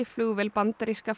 kyrrsetti flugvél bandaríska